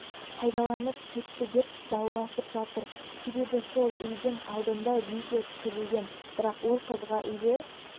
пайдаланып кетті деп дауласып жатыр себебі сол үйдің алдында видео түсірілген бірақ ол қызға үйді